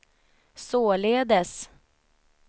således